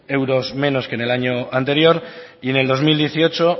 euros menos que en el año anterior y en el dos mil dieciocho